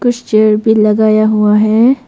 कुछ चेयर भी लगाया हुआ है।